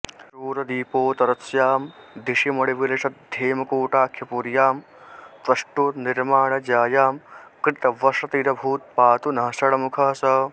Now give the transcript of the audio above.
शूरद्वीपोत्तरस्यां दिशि मणिविलसद्धेमकूटाख्यपुर्यां त्वष्टुर्निर्माणजायां कृतवसतिरभूत् पातु नः षण्मुखः सः